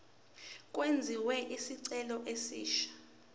kwenziwe isicelo esisha